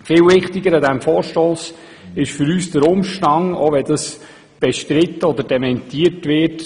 Viel wichtiger an diesem Vorstoss ist für uns der Umstand, dass dieser auf die Schulleitungen abzielt, auch wenn das bestritten oder dementiert wird.